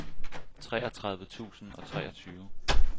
treogtredive tusind og treogtyve